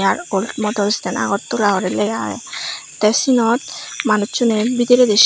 motor stand agartala guri lega age te siyot manuchune bidire.